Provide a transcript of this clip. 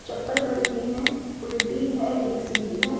चप्पल पड़ी हुई है उल्टी है एक सीधी है ।